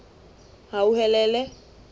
hauhelele